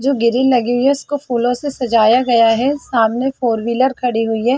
जो गिरिल लगी हुई है। उस को फूलो से सजाया गया है। सामने फोर वीलर खड़ी हुई है।